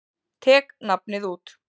Tek nafnið út.